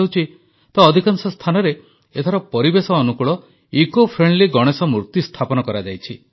ଗଣେଶୋତ୍ସବ ମଧ୍ୟ କେଉଁଠି ଅନଲାଇନ ପାଳନ କରାଯାଇଛି ତ କେଉଁଠି ପରିବେଶ ଅନୁକୂଳ ଇକୋ ଫ୍ରେଣ୍ଡଲି ଗଣେଶ ମୂର୍ତ୍ତି ସ୍ଥାପନ କରାଯାଇଛି